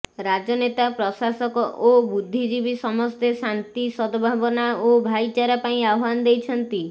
ରାଜନେତା ପ୍ରଶାସକ ଓ ବୁଦ୍ଧିଜିବୀ ସମସ୍ତେ ଶାନ୍ତି ସଦଭାବନା ଓ ଭାଇଚାରା ପାଇଁ ଆହ୍ୱାନ ଦେଇଛନ୍ତି